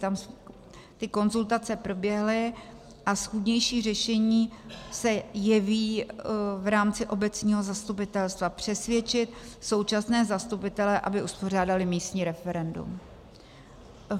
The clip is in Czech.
Tam ty konzultace proběhly a schůdnější řešení se jeví v rámci obecního zastupitelstva - přesvědčit současné zastupitele, aby uspořádali místní referendum.